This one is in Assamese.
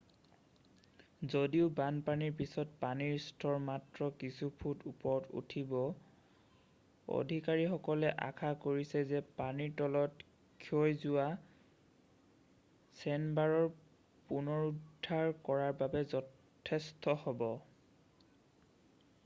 যদিও বানপানীৰ পিছত পানীৰ স্তৰ মাত্ৰ কিছু ফুট ওপৰত উঠিব অধিকাৰীসকলে আশা কৰিছে যে পানীৰ তলত ক্ষয়যোৱা চেণ্ডবাৰৰ পুনৰুদ্ধাৰ কৰাৰ বাবে যথেষ্ট হ'ব